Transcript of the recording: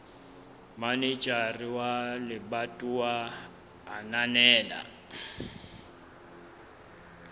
manejara wa lebatowa a ananela